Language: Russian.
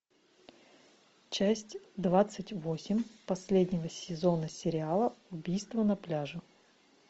часть двадцать восемь последнего сезона сериала убийство на пляже